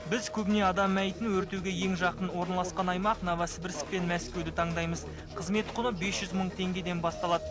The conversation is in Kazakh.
біз көбіне адам мәйітін өртеуге ең жақын орналасқан аймақ новосібірск пен мәскеуді таңдаймыз қызмет құны бес жүз мың теңгеден басталады